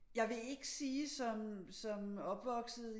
Jeg vil ikke sige som opvokset